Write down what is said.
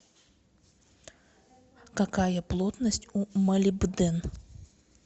какая плотность у молибден